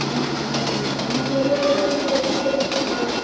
ହଁ ଅଣ୍ଡା ଖାଉଛି ତମ ଘରକୁ ଗଲେ ଦିନେ ଦେଶୀ କରିବୁ ତ ଖାଇଆ।